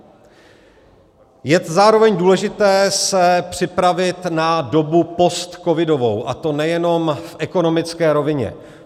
Je zároveň důležité se připravit na dobu postcovidovou, a to nejenom v ekonomické rovině.